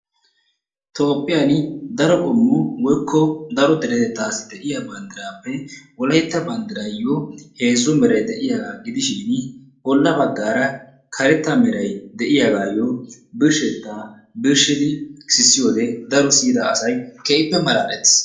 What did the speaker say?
toophiya daro qommo woykko daro deretettassi de'iya banddrappe wolaytta banddrayyo heezzu meray de'iyaaga gidishin bolla baggaara karetta meray de'iyaaga birshsheta birshshidi sissiyoode daro siyyida asay keehippe malaaletiis.